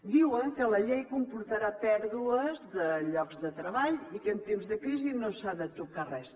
diuen que la llei comportarà pèrdues de lloc de treball i que en temps de crisi no s’ha de tocar res